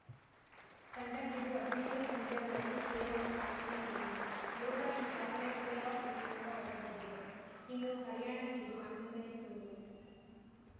ತಂಡಕ್ಕಿದು ಹದಿನ್ಯೋಳು ಪಂದ್ಯಗಳಲ್ಲಿ ಕೇವಲ ನಾಲಕ್ಕನೇ ಗೆಲವು ಯೋಧಾ ಈಗಾಗಲೇ ಪ್ಲೇಆಫ್‌ ರೇಸ್‌ನಿಂದ ಹೊರಬಿದ್ದಿದೆ ಇನ್ನು ಹರ್ಯಾಣಕ್ಕಿದು ಹನ್ನೊಂದನೇ ಸೋಲು